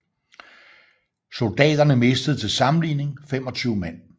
Soldaterne mistede til sammenligning 25 mand